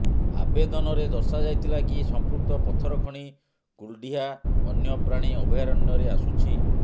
ଆବେଦନରେ ଦର୍ଶାଯାଇଥିଲା କି ସଂପୃକ୍ତ ପଥର ଖଣି କୁଲଡିହା ବନ୍ୟପ୍ରାଣୀ ଅଭୟାରଣ୍ୟରେ ଆସୁଛି